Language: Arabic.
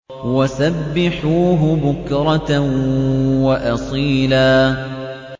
وَسَبِّحُوهُ بُكْرَةً وَأَصِيلًا